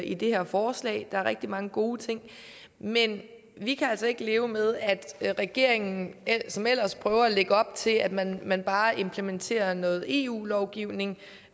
i det her forslag der er rigtig mange gode ting men vi kan altså ikke leve med at regeringen som ellers prøver at lægge op til at man man bare implementerer noget eu lovgivning